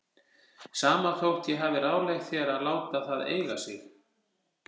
Sama þótt ég hafi ráðlagt þér að láta það eiga sig.